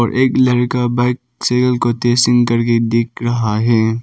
एक लड़का bike cycle को टेस्टिंग करके देख रहा है।